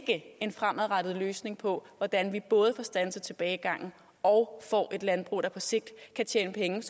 en fremadrettet løsning på hvordan vi både får standset tilbagegangen og får et landbrug der på sigt kan tjene penge